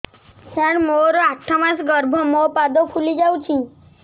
ସାର ମୋର ଆଠ ମାସ ଗର୍ଭ ମୋ ପାଦ ଫୁଲିଯାଉଛି